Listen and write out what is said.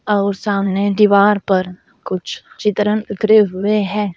और सामने दीवार पर कुछ चित्रण इकरे हुए हैं।